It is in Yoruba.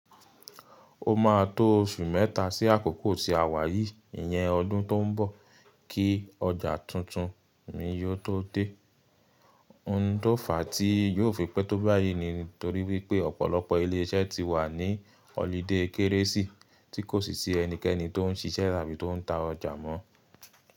Ó máa tó oṣù mẹ́ta sí àkókò tí àwa yìí, ìyẹn ọdún tó n bọ̀, kí ọjà tuntun mi yóò tó dé. Ohun tó fàá tí yóò fi pẹ́ tó báyìí ni nítorí wípé ọ̀pọ̀lọpọ̀ ilé iṣẹ́ ti wà ní holiday Kérésì tí kò sì sí ẹnikẹ́ni tó n ṣiṣẹ́ àbí tó n ta ọjà mọ́.